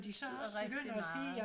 Det betyder rigtig meget